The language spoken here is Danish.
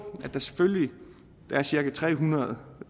der er cirka tre hundrede